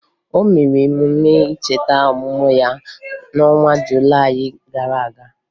O mere emume ncheta ọmụmụ ya n'ọnwa Julayị gara aga